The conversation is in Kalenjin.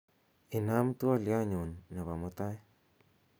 inaam twolyonyun nepo mutai